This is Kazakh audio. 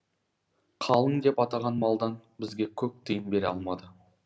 қалың деп атаған малдан бізге көк тиын бере алмады